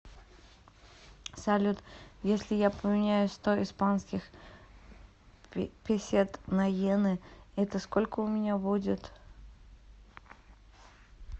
салют если я поменяю сто испанских песет на йены это сколько у меня будет